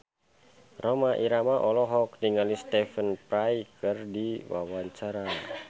Rhoma Irama olohok ningali Stephen Fry keur diwawancara